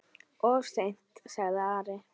Of seint, sagði Ari.